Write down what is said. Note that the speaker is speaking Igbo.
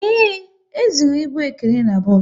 Ee, e zụrụ ịbụ Ekene n'bos